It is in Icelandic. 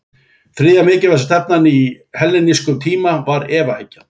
Þriðja mikilvægasta stefnan á hellenískum tíma var efahyggjan.